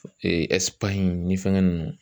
Espagne ni fɛŋɛ ninnu